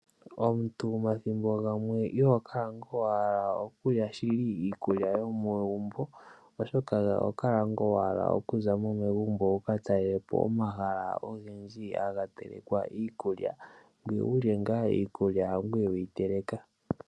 Omuntu omathimbo gamwe iho kala nga wahala okulya shili iikulya yomegumbo, oshoka oho kala nga wahala okuzamo megumbo wuka talele po omahala ogendji haga telekwa iikulya ngoye wulye ngaa iikulya hangoye weyi teleka.